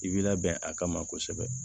I bi labɛn a kama kosɛbɛ